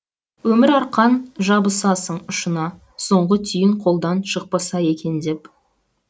өмір арқан жабысасың ұшына соңғы түйін қолдан шықпаса екен деп